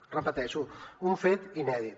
ho repeteixo un fet inèdit